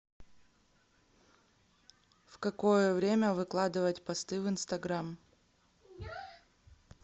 в какое время выкладывать посты в инстаграм